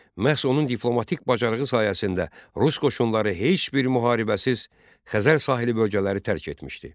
Məhz onun diplomatik bacarığı sayəsində Rus qoşunları heç bir müharibəsiz Xəzər sahili bölgələri tərk etmişdi.